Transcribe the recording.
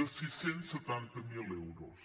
de sis cents i setanta miler euros